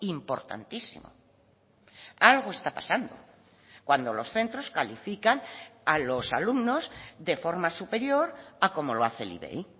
importantísimo algo está pasando cuando los centros califican a los alumnos de forma superior a como lo hace el ivei